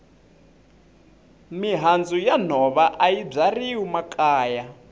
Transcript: mihandzu ya nhova ayi byariwi makaya